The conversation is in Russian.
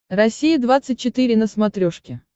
россия двадцать четыре на смотрешке